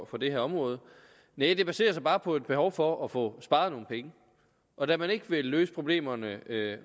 på det her område næh det baserer sig bare på et behov for at få sparet nogle penge og da man ikke vil løse problemerne